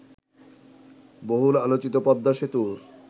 বহুল আলোচিত পদ্মা সেতুর